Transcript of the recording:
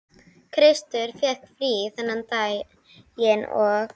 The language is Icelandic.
Kristur fékk frí þennan daginn og